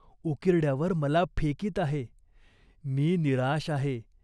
उकिरड्यावर मला फेकीत आहे. मी निराश आहे.